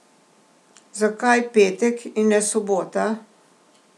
Zakaj petek, in ne sobota?